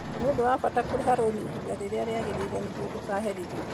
Nĩ ũndũ wa bata kũrĩha rũni ihinda rĩrĩa rĩagĩrĩire nĩguo ndũkaherithio.